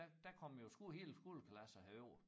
Der der kom jo sko hele skoleklasser herover